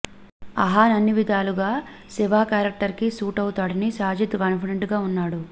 అహాన్ అన్ని విధాలుగా శివ క్యారెక్టర్ కి సూట్ అవుతాడని సాజిద్ కాన్ఫిడెంట్ గా వున్నాడు